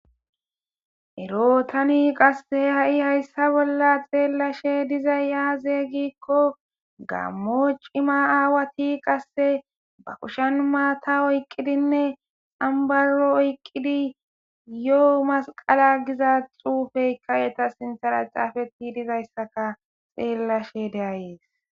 Ero tani qassehe ha'i hayssa bolla xeellashe dizay yaazeygikko gammo cima aawati qasse ba kushen maata oyqqidinne ambaro oyqqidi yo'u masqala giza xuufeyka yeta sinthala caafetti dizayssaka xeellashe deayees.